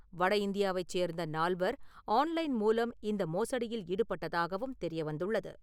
வட இந்தியாவைச் சேர்ந்த நால்வர் ஆன்லைன் மூலம் இந்த மோசடியில் ஈடுபட்டதாகவும் தெரிய வந்துள்ளது.